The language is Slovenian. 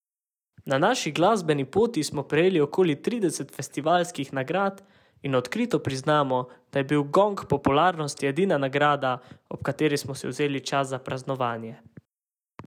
Na naši glasbeni poti smo prejeli okoli trideset festivalskih nagrad in odkrito priznamo, da je bil gong popularnosti edina nagrada, ob kateri smo si vzeli čas za praznovanje.